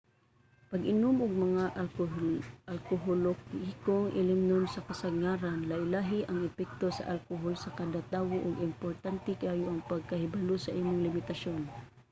pag-inom og mga alkoholikong ilimnon sa kasarangan. lahi-lahi ang epekto sa alkohol sa kada tawo ug importante kaayo ang pagkahibalo sa imong limitasyon